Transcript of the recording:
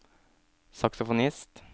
saksofonist